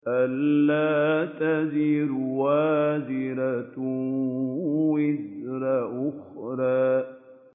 أَلَّا تَزِرُ وَازِرَةٌ وِزْرَ أُخْرَىٰ